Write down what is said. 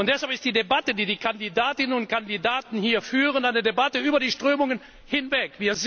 Deshalb ist die Debatte, die die Kandidatinnen und Kandidaten hier führen, eine Debatte über die Strömungen hinweg.